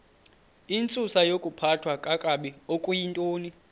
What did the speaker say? intsusayokuphathwa kakabi okuyintoni